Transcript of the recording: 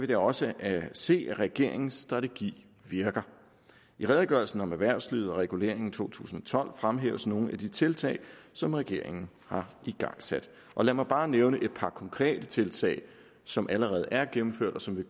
da også se at regeringens strategi virker i redegørelsen om erhvervslivet og reguleringen to tusind og tolv fremhæves nogle af de tiltag som regeringen har igangsat og lad mig bare nævne et par konkrete tiltag som allerede er gennemført og som